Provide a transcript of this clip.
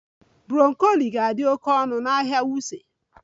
Broccoli ga-adị oke ọnụ n'ahịa Wuse